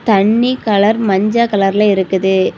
தண்ணி கலர் மஞ்ச கலர்ல இருக்குது.